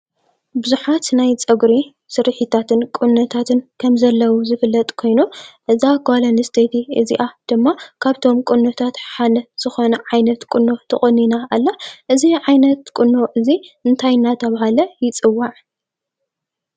ቡዙሓት ናይ ፀጉሪ ስሪሒታትን ቁኖታትን ከምዘለዉ ዝፍለጥ ኮይኑ እዛ ጓል ኣንስቴቲ እዚአ ድማ ካብቶም ቁነታት እቲ ሓደ ዝኮነ ዓይነት ቁኖ ተቆኒና ኣላ። እዚ ዓይነት ቁኖ እዚ እንታይ እንዳተባሃለ ይፅዋዕ?